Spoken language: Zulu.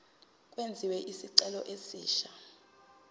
kwenziwe isicelo esisha